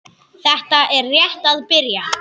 Þetta er rétt að byrja.